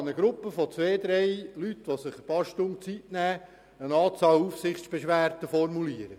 Eine Gruppe von zwei bis drei Leuten kann während ein paar Stunden eine Anzahl an Aufsichtsbeschwerden formulieren.